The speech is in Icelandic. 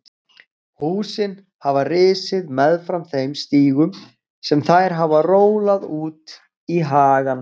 Húsin hafa risið meðfram þeim stígum sem þær hafa rólað út í hagann.